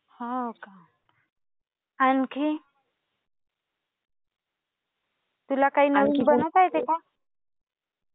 हो का? आणखी? तुला काय नवीन बनवता येते का?